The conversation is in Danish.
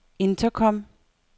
intercom